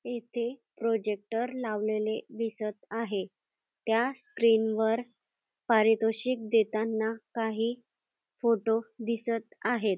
येथे प्रॉजेक्टर लावलेले दिसत आहे त्या स्क्रीन वर पारितोषिक देताना काही फोटो दिसत आहेत.